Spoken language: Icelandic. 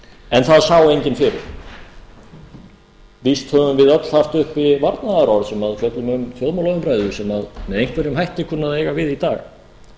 en það sá enginn fyrir víst höfum við öll haft uppi varnaðarorð sem fjöllum um þjóðmálaumræðu sem með einhverjum hætti kunna að eiga við í dag